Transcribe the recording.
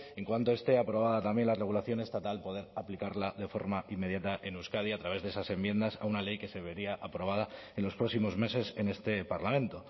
en cuanto esté aprobada también la regulación estatal poder aplicarla de forma inmediata en euskadi a través de esas enmiendas a una ley que se vería aprobada en los próximos meses en este parlamento